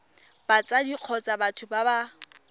batsadi kgotsa batho ba ba